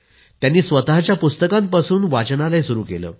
त्यांनी स्वतःची पुस्तकं वापरून वाचनालय सुरु केलं